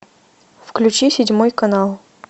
включи седьмой канал